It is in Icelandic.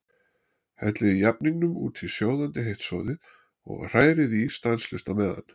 Hellið jafningnum út í sjóðandi heitt soðið og hrærið í stanslaust á meðan.